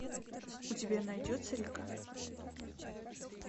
у тебя найдется река